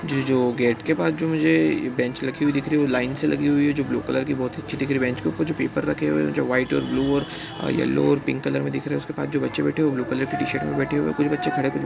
ये जो गेट के पास जो मुझे बेंच रखी हुई दिख रही है वो लाइन से लगी हुई है जो ब्लू कलर की बहुत ही अच्छी दिख रही बेंच के ऊपर जो पेपर रखे हुए है जो व्हाइट और ब्लू और येलो और पिंक कलर के दिख रहे हैं उसके पास जो बच्चे बैठे हुए हैं वो ब्लू कलर की टीशर्ट में बैठे हुए हैं। कुछ बच्चे खड़े---